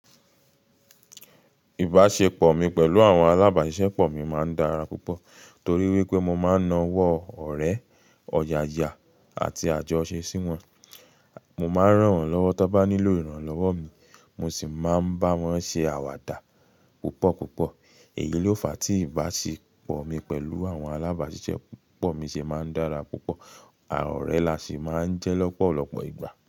Ìbáṣepọ̀ mi pẹ̀lú àwọn alábáṣiṣẹ́pọ̀ mi máa ń dára púpọ̀ torí wípé mo máa ń na ọwọ́ ọ̀rẹ́, ọ̀yàyà àti àjọ ṣe sí wọn. Mo máa ń ràn wọ́n lọ́wọ́ tó bá nílò ìrànlọ́wọ́ mi, mo sì máa ń bá wọn ṣe àwàdà púpọ̀ púpọ̀. Èyí ló fa tí ìbáṣepọ̀ mi pẹ̀lú àwọn alábáṣiṣẹ́pọ̀ mi ṣe máa ń dára púpọ̀, ọ̀rẹ́ la ṣi máa ń jẹ́ lọ́pọ̀lọpọ̀ ìgbà.